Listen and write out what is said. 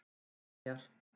Brynjar